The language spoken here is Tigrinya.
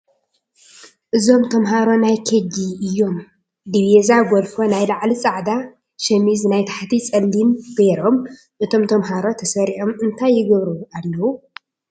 እዞም ተምሃሮ ናይ ኬጂ እዩም ድቪዛ ጎልፎ ናይ ላዕሊ ፃዕዳ ሽሚዝ ናይ ታሕቲ ፀሊም ጌሮም እቶም ተምሃሮ ተሰሪዖም እንታይ ይግብሩ ኣለዉ ?